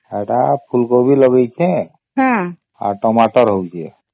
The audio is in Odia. ହେଈଟା ଫୁଲ କୋବି ଲଗେଇଛେ ଆଉ ଟମାଟର ହଉଛେ